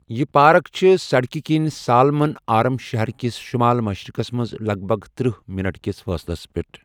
یہِ پارک چھِ سڑکہِ کٕنۍ سالمن آرم شہر کِس شمال مشرقَس منٛز لگ بگ تٔرہ منٹ کِس فٲصلَس پٮ۪ٹھ ۔